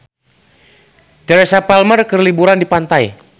Teresa Palmer keur liburan di pantai